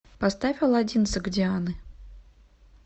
поставь аладдин согдианы